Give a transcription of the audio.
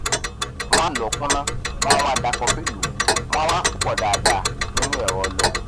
wọn lọọ kúnná wọn wá da kọfí lùú wọn a wá pòó pọ dáadáa nínu ẹrọ ọlọ